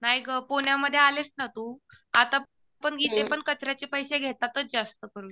नाही गं. पुण्यामध्ये आलीस ना तू. आता पण इथेपण कचऱ्याचे पैसे घेतातच जास्तकरून.